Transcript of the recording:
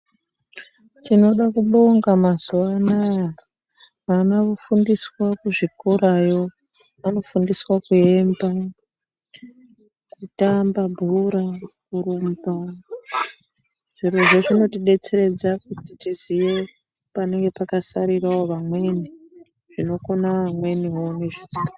Tinoda kubonga mazuwa anaya. Vana vofundiswa kuzvikorayo. Vanofundiswa kuemba, kutamba bhora, kurumba. Zvirozvo zvino tidetseredza kuti tiziye panenge pakasarirawo vamweni, zvinokona vamweniwo nezvisika.